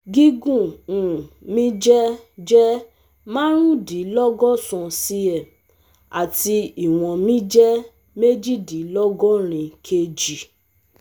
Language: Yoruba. Gígùn um mi jẹ́ jẹ́ marundinlogosan c-m àti ìwọn mi jẹ́ mejidinlogorin k-g